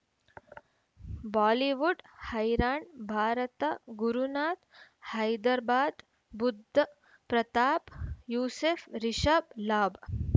Bollywood ಹೈರಾಣ್ ಭಾರತ ಗುರುನಾಥ್ ಹೈದರಾಬಾದ್ ಬುಧ್ ಪ್ರತಾಪ್ ಯೂಸುಫ್ ರಿಷಬ್ ಲಾಭ